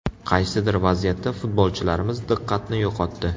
Qaysidir vaziyatda futbolchilarimiz diqqatni yo‘qotdi.